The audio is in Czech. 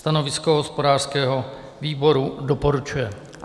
Stanovisko hospodářského výboru: Doporučuje.